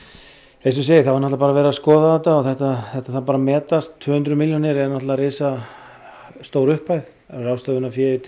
eins og ég segi þá er bara verið að skoða þetta og þetta þetta þarf að metast tvö hundruð milljónir er náttúrulega risastór upphæð ráðstöfunarfé til